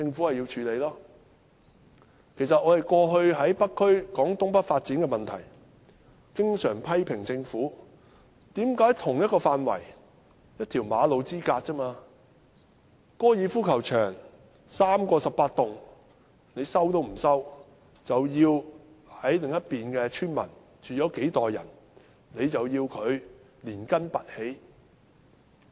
過去我們在北區討論東北發展的問題時，經常批評政府為何不收回3個18洞高爾夫球場，卻要收回在同一範圍內，只是一條馬路之隔，住了幾代村民的土地，要他們連根拔起。